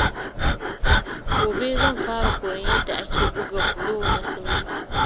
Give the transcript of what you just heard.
Gobe, zan fara koyon yadda ake buga bulo na siminti.